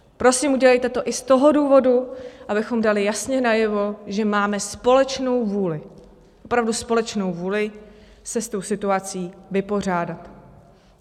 Prosím, udělejte to i z toho důvodu, abychom dali jasně najevo, že máme společnou vůli, opravdu společnou vůli se s tou situací vypořádat.